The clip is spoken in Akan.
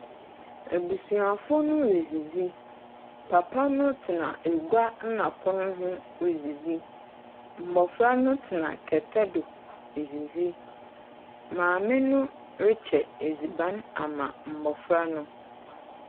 Ebusuafo ne redzidzi, papa no tena egua nna pono ho redzidzi. Mbɔfra no tena kɛtɛ do redzidzi. Maame no rekyɛ edziban ama mbɔfra no.